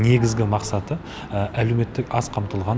негізгі мақсаты әлеуметтік аз қамтылған